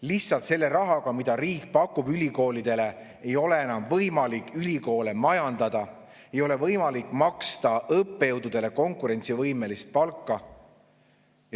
Lihtsalt selle rahaga, mida riik pakub, ei ole ülikoolidel enam võimalik majandada, ei ole võimalik maksta õppejõududele konkurentsivõimelist palka.